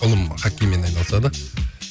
ұлым хоккеймен айналысады